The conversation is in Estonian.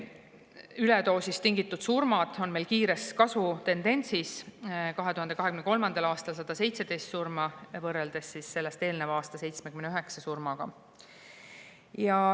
Üledoosist tingitud surmade kasv on meil kiire: 2023. aastal 117 surma võrreldes sellele eelnenud aasta 79 surmaga.